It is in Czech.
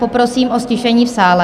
Poprosím o ztišení v sále.